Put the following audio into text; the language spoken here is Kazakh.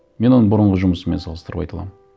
мен оны бұрынғы жұмысыммен салыстырып айта аламын